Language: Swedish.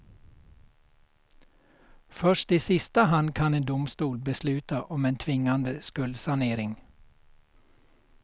Först i sista hand kan en domstol besluta om en tvingande skuldsanering.